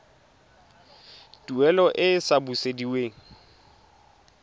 tuelo e e sa busediweng